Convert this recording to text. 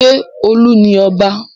Ṣé Olú ni ọba?